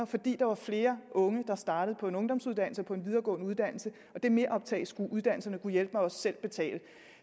fordi der var flere unge der startede på en ungdomsuddannelse og på en videregående uddannelse og det meroptag skulle uddannelserne gudhjælpemig også selv betale